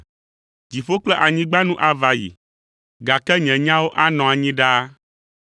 “Dziƒo kple anyigba nu ava yi, gake nye nyawo anɔ anyi ɖaa.